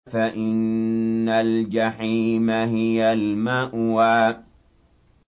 فَإِنَّ الْجَحِيمَ هِيَ الْمَأْوَىٰ